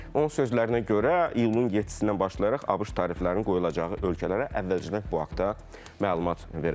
Onun sözlərinə görə iyulun 7-dən başlayaraq ABŞ təriflərinin qoyulacağı ölkələrə əvvəlcədən bu haqda məlumat verəcək.